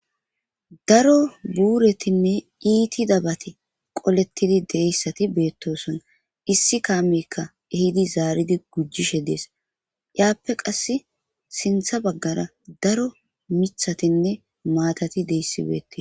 Daro buuratinne iitidabati qolettidi de'iya issati beettoson. Issi kaamekka ehidi zaaridi gujishe dees. Yaappe qass sintha baggara daro mithatinne maatati diya issi beettiis.